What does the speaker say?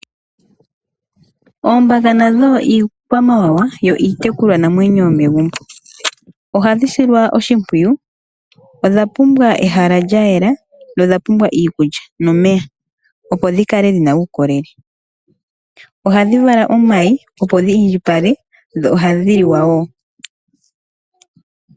Oombaka nadho iikwamawawa yo iitekulwa namwenyo yomegumbo. Ohadhi silwa oshimpwiyu, odha pumbwa ehala lyayela dho odhapumbwa iikulya nomeya opo dhikale dhina uukolele. Ohadhi vala omayi opo dhiindjipale dho ohadhi liwa wo.